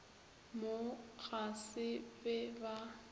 mo ga se be ba